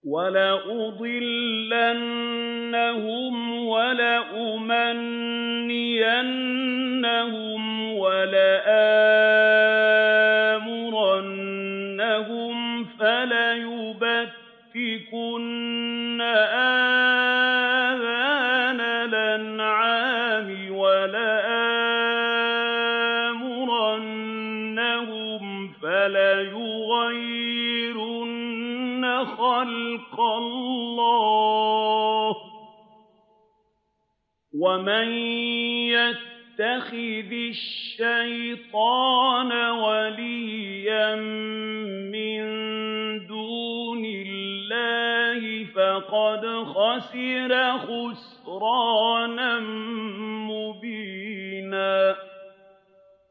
وَلَأُضِلَّنَّهُمْ وَلَأُمَنِّيَنَّهُمْ وَلَآمُرَنَّهُمْ فَلَيُبَتِّكُنَّ آذَانَ الْأَنْعَامِ وَلَآمُرَنَّهُمْ فَلَيُغَيِّرُنَّ خَلْقَ اللَّهِ ۚ وَمَن يَتَّخِذِ الشَّيْطَانَ وَلِيًّا مِّن دُونِ اللَّهِ فَقَدْ خَسِرَ خُسْرَانًا مُّبِينًا